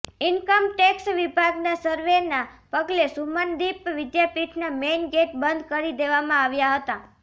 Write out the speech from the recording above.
income tax વિભાગના સર્વેના પગલે સુમનદીપ વિદ્યાપીઠના મેઇન ગેઇટ બંધ કરી દેવામાં આવ્યા હતા